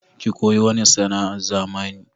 Ki koyi wani sana'a na zamani!